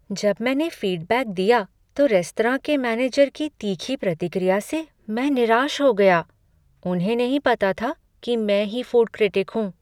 जब मैंने फीडबैक दी तो रेस्तरां के मैनेजर की तीखी प्रतिक्रिया से मैं निराश हो गया। उन्हें नहीं पता था कि मैं ही फूड क्रिटिक हूँ।